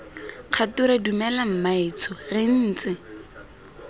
kgature dumela mmaetsho re ntse